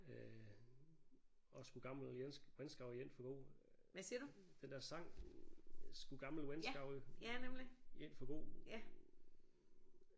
Øh også skuld gammel venskab rejn forgo den der sang skuld gammel venskab rejn forgo